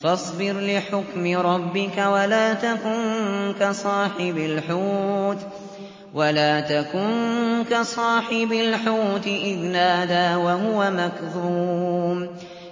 فَاصْبِرْ لِحُكْمِ رَبِّكَ وَلَا تَكُن كَصَاحِبِ الْحُوتِ إِذْ نَادَىٰ وَهُوَ مَكْظُومٌ